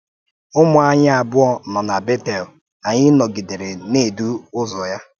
Ụmụ̀ anyị abụọ nọ́ na Bétel, anyị nọ́gidèrè na-èdú ụzọ.